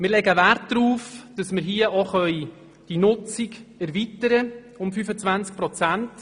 Wir legen Wert darauf, dass wir die Nutzung um 25 Prozent erweitern können.